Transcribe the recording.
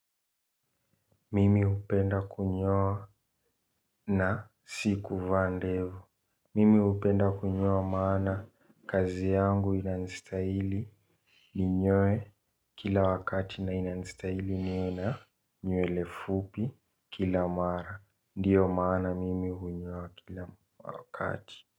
Mimi upenda kunyoa na siku van devu. Mimi upenda kunyoa maana kazi yangu ina nistahili. Ninyoe kila wakati na ina nistahili ninyoe na nyuele fupi kila mara. Ndiyo maana mimi hunyoa kila wakati.